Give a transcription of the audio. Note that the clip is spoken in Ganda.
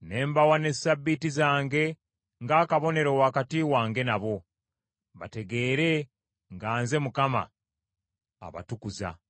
Ne mbawa ne Ssabbiiti zange ng’akabonero wakati wange nabo, bategeere nga nze Mukama abatukuza.